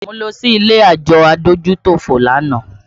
Mo lọ sí ilé àjọ adójútòfò lánàá